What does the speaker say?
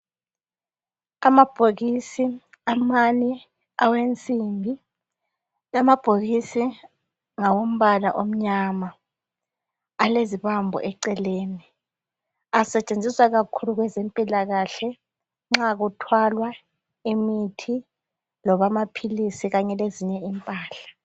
Amabhokisi amancane awensimbi amabhokisi ngawombala omnyama alezibambo eceleni asetshenziswa kakhulu kwezempilakahle nxa kuthwalwa imithi loba amaphilisi kanye lezinye impahla.